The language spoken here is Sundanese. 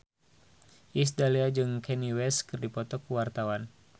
Iis Dahlia jeung Kanye West keur dipoto ku wartawan